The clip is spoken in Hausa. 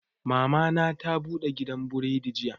Mama na ta bude gidan buredi jiya